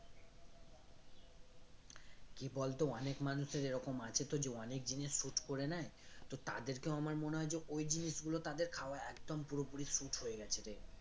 কি বলতো অনেক মানুষের এরকম আছে তো যে অনেক জিনিস suit করে নেই তো তাদেরকেও আমার মনে হয় যে ওই জিনিস গুলো তাদের খাওয়া একদম পুরোপুরি suit হয়ে গেছে রে